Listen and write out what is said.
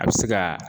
A bɛ se ka